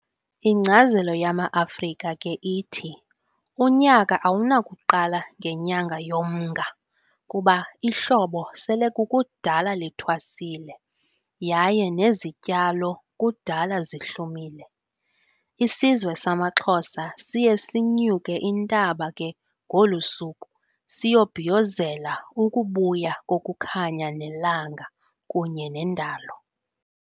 Inkcazelo yama Afrika ke ithi unyaka awunakuqala ngenyanga yoMnga kuba ihlobo sele kukudala lithwasile yaye nezityalo kudala zihlumile. Isizwe samaXhosa siye sinyuke intaba ke ngolusuku siyobhiyozela ukubuya kokukhanya nelanga, kunye nendalo.